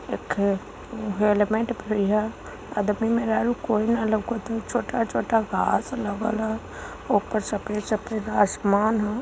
येखे helmet पड़ी है अदमी मेहरारू कोई ना लउकत ह छोटा-छोटा घास लगल ह ऊपर सफेद-सफेद आसमान ह।